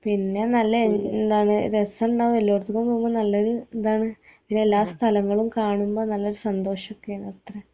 പിന്നെ നല്ല എന്താണ് രസണ്ടാവും എല്ലാട്ത്ത്ക്കും പോവുമ്പോ നല്ലൊരു എന്താണ് അതെല്ലാ സ്ഥലങ്ങളും കാണുന്ന നല്ല സന്തോഷോക്കേണത്രേ